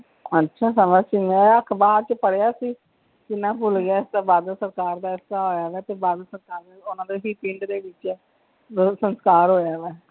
ਅੱਛਾ ਬੜਾ ਚਨਾਗਾ ਅਖਬਾਰ ਵਿਚ ਪੜ੍ਹਿਆ ਸੀ, ਕੀ ਨਾਂ ਏ ਭੁੱਲ ਗਿਆ, ਬਾਦਲ ਸਰਕਾਰ ਦੇ ਤੇ ਉਹਨਾਂ ਦੇ ਹੀ ਪਿੰਡ ਦੇ ਵਿੱਚ ਬਾਦਲ ਸਰਕਾਰ ਵਲੋਂ ਦਾ ਸੰਸਕਾਰ ਹੋਇਆ ਹੈ।